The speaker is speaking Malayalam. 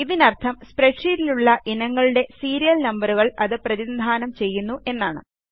ഇതിനർഥം സ്പ്രെഡ്ഷീറ്റിലുള്ള ഇനങ്ങളുടെ സീരിയൽ നമ്പറുകളെ അത് പ്രതിനിധാനം ചെയ്യുന്നു എന്നാണ്